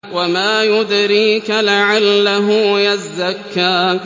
وَمَا يُدْرِيكَ لَعَلَّهُ يَزَّكَّىٰ